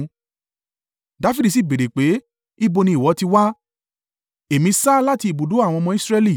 Dafidi sì béèrè pé, “Ibo ni ìwọ ti wá?” “Èmi sá láti ibùdó àwọn ọmọ Israẹli.”